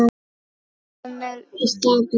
Emil í stað Blasi?